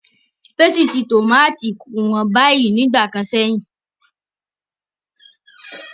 Pésìtì tómátò kò hán bàyìí ní ìgbà kan sẹ́yìn.